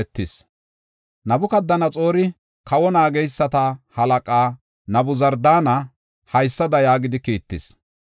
Nabukadanaxoori, kawa naageysata halaqaa Nabuzardaana haysada yaagidi kiittis: